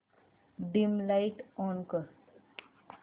dim light on कर